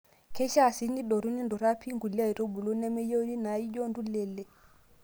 Keishaa sii nidotu ninturraa pii nkulie aitubulu nemeyieuni naaijio entulelei.